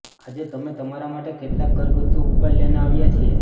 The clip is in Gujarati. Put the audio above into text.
આજે અમે તમારા માટે કેટલાક ઘરગથ્થું ઉપાય લઇને આવ્યા છીએ